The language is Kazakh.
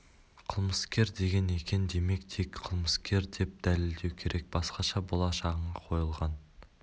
қылмыскер деген екен демек тек қылмыскер деп дәлелдеу керек басқаша болашағыңа қойылған